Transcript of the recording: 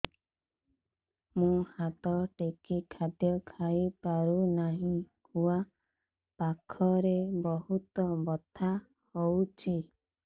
ମୁ ହାତ ଟେକି ଖାଦ୍ୟ ଖାଇପାରୁନାହିଁ ଖୁଆ ପାଖରେ ବହୁତ ବଥା ହଉଚି